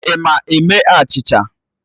Ị ma eme achịcha?